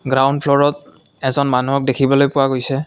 Ground ফ্ল'ৰত এজন মানুহক দেখিবলৈ পোৱা গৈছে।